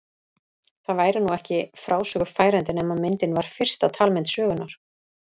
Það væri nú ekki frásögu færandi nema myndin var fyrsta talmynd sögunnar.